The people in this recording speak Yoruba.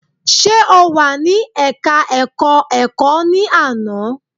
Ṣe o wà ní ẹka ẹ̀kọ́ ẹ̀kọ́ ní àná?